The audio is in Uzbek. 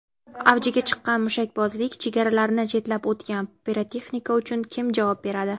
Avjiga chiqqan mushakbozlik: chegaralarni chetlab o‘tgan pirotexnika uchun kim javob beradi?.